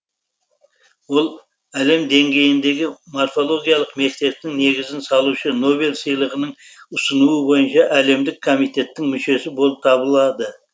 ол әлем деңгейіндегі морфологиялық мектептің негізін салушы нобель сыйлығын ұсыну бойынша әлемдік комитеттің мүшесі болып табылады